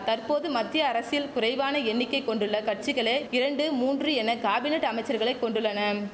தற்போது மத்திய அரசில் குறைவான எண்ணிக்கை கொண்டுள்ள கட்சிகளே இரண்டு மூன்று என காபினட் அமைச்சர்களை கொண்டுள்ளனம்